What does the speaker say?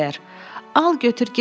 Al götür get də,